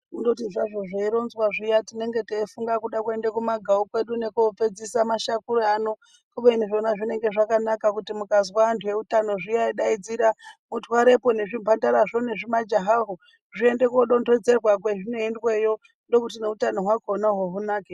Kundoti zvazvo zveironzwa zviya tinenge teifunga kuda kuende kumagawu kwedu nokopedzise mashakura ano kubeni zvona zvinenge zvakanaka kuti mukazwa anhu eutano zviya eideedzera mutwarepo nezvimhandara zvo nezvimajahaho zviende kodonhedzerwa kwezvinoendweyo ndiko kuti neutano hwakonaho hunake.